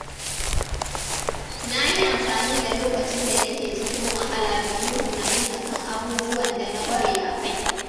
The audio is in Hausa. Na yi amfani da lokacin da nake cikin wahala domin tunani a kan abubuwan da na ƙware a kai.